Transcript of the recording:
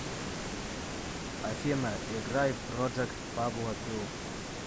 афина играй проджект пабло пилл